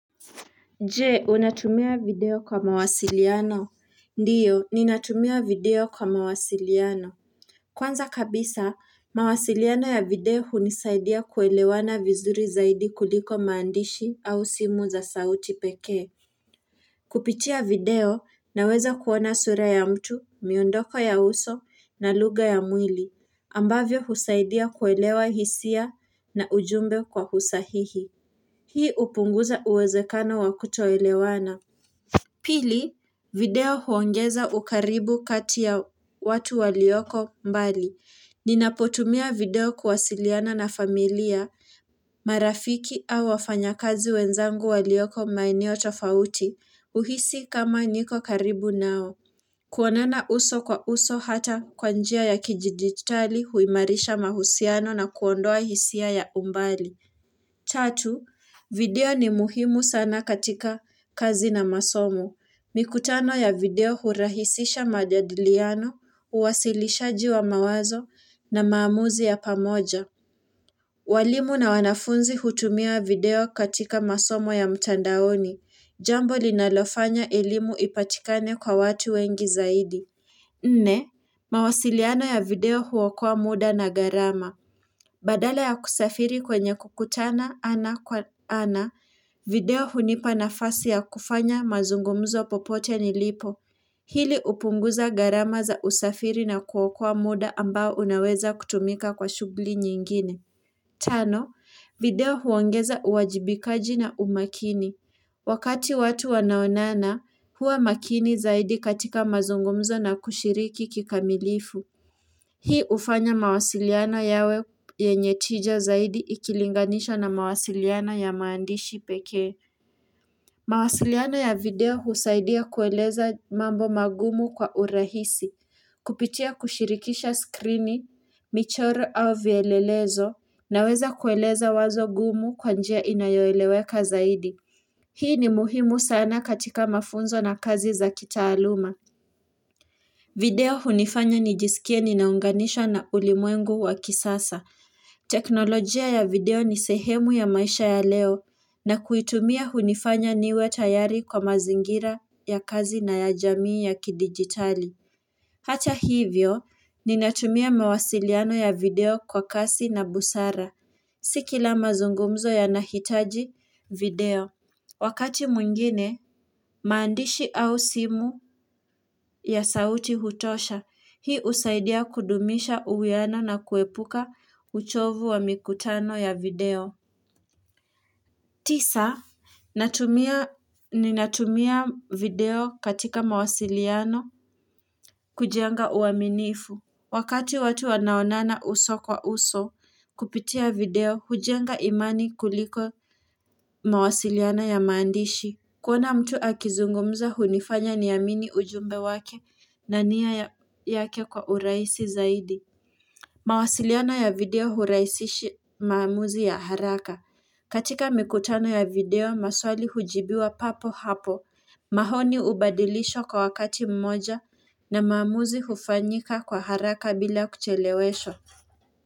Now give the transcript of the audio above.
Je, unatumia video kwa mawasiliano? Ndiyo, ninatumia video kwa mawasiliano. Kwanza kabisa, mawasiliano ya video hunisaidia kuelewana vizuri zaidi kuliko maandishi au simu za sauti pekee. Kupitia video na weza kuona sura ya mtu, miondoko ya uso na luga ya mwili. Ambavyo husaidia kuelewa hisia na ujumbe kwa husahihi. Hii upunguza uwezekano wa kutoelewana. Pili, video huongeza ukaribu kati ya watu walioko mbali. Ninapotumia video kuwasiliana na familia, marafiki au wafanya kazi wenzangu walioko maenio tofauti, uhisi kama niko karibu nao. Kuonana uso kwa uso hata kwanjia ya kijiditali huimarisha mahusiano na kuondoa hisia ya umbali. Tatu, video ni muhimu sana katika kazi na masomo. Mikutano ya video hurahisisha majadiliano, uwasilisha jiwa mawazo na maamuzi ya pamoja. Walimu na wanafunzi hutumia video katika masomo ya mtandaoni. Jambo linalofanya ilimu ipatikane kwa watu wengi zaidi. Nne, mawasiliano ya video huokoa muda na garama. Badala ya kusafiri kwenye kukutana ana kwa ana, video hunipa na fasi ya kufanya mazungumzo popote ni lipo. Pili upunguza garama za usafiri na kuokua muda ambao unaweza kutumika kwa shugli nyingine. Tano, video huongeza uwajibikaji na umakini. Wakati watu wanaonana, huwa makini zaidi katika mazungumzo na kushiriki kikamilifu. Hii ufanya mawasiliana yawe yenyetija zaidi ikilinganisha na mawasiliana ya maandishi pekee. Mawasiliano ya video husaidia kueleza mambo magumu kwa urahisi, kupitia kushirikisha skrini, michoro au vielelezo na weza kueleza wazo gumu kwanjia inayoeleweka zaidi. Hii ni muhimu sana katika mafunzo na kazi za kita aluma. Video hunifanya nijisikia ninaunganisha na ulimwengu wakisasa. Teknolojia ya video nisehemu ya maisha ya leo na kuitumia hunifanya niwe tayari kwa mazingira ya kazi na ya jamii ya kidigitali. Hata hivyo, ninatumia mawasiliano ya video kwa kasi na busara. Sikila mazungumzo ya nahitaji video. Wakati mwingine, maandishi au simu ya sauti hutosha, hii usaidia kudumisha uweana na kuepuka uchovu wa mikutano ya video. Tisa, ni natumia video katika mawasiliano kujenga uaminifu. Wakati watu wanaonana uso kwa uso kupitia video, hujenga imani kuliko mawasiliano ya maandishi. Kuona mtu akizungumza hunifanya niyamini ujumbe wake na niya yake kwa uraisi zaidi mawasiliano ya video huraisishi maamuzi ya haraka katika mikutano ya video maswali hujibiwa papo hapo Mahoni ubadilisho kwa wakati mmoja na maamuzi hufanyika kwa haraka bila kucheleweshwa.